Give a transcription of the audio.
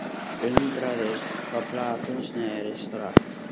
Undraðist hvað platan snerist hratt.